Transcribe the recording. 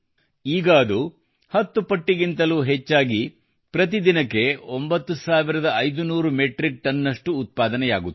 ಈಗ ಅದು ಶೇ 10 ಕ್ಕಿಂತಲೂ ಹೆಚ್ಚಾಗಿ ಪ್ರತಿದಿನಕ್ಕೆ 9500 ಮೆಟ್ರಿಕ್ ಟನ್ ನಷ್ಟು ಉತ್ಪಾದನೆಯಾಗುತ್ತಿದೆ